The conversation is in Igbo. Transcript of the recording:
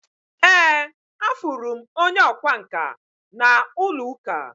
Ee, Afurum onye ọkwá nkà na ulo-uka